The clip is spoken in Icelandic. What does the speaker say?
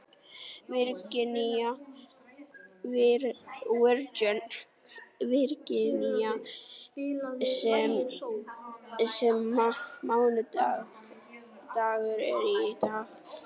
Virginía, hvaða mánaðardagur er í dag?